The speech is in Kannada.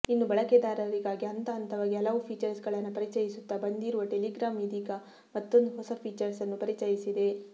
ಇನ್ನು ಬಳಕೆದಾರರಿಗಾಗಿ ಹಂತಹಂತವಾಗಿ ಹಲವು ಫೀಚರ್ಸ್ಗಳನ್ನ ಪರಿಚಯಿಸುತ್ತಾ ಬಂದಿರುವ ಟೆಲಿಗ್ರಾಮ್ ಇದೀಗ ಮತ್ತೊಂದು ಹೊಸ ಫೀಚರ್ಸ್ ಅನ್ನು ಪರಿಚಯಿಸಿದೆ